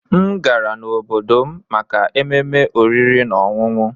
M gara n'obodo m maka ememe oriri na ọṅụṅụ